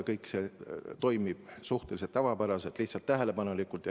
Kõik toimib suhteliselt tavapäraselt, lihtsalt väga tähelepanelikult.